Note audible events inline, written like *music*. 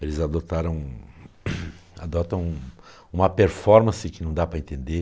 Eles adotaram *coughs* adotam uma performance que não dá para entender.